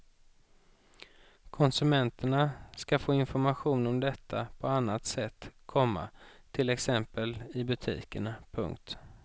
Konsumenterna ska få information om detta på annat sätt, komma till exempel i butikerna. punkt